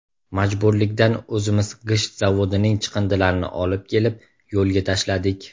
Majburlikdan, o‘zimiz g‘isht zavodining chiqindilarini olib kelib, yo‘lga tashladik.